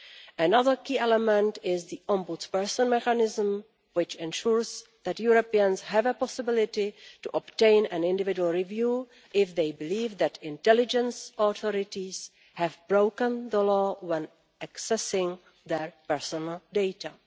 Another key element is the Ombudsperson mechanism, which ensures that Europeans have a possibility to obtain an individual review if they believe that intelligence authorities have broken the law when accessing their personal data.